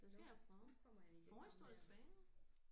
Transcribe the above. Det skal jeg prøve forhistorisk bager